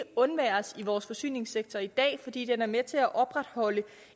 undværes i vores forsyningssektor i dag fordi den er med til at opretholde